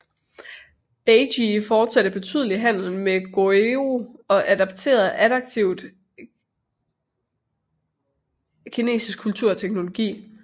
Baekje fortsatte betydelig handel med Goguryeo og adobterede aktivt kinesisk kultur og teknologi